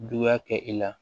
Juguya kɛ i la